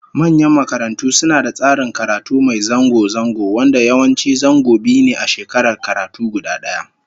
Manyan makarantu suna da tsarin karatu mai zango zango, wanda yawanci zango biyu ne a shekarar karatu guda daya